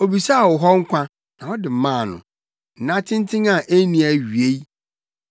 Obisaa wo hɔ nkwa, na wode maa no, nna tenten a enni awiei.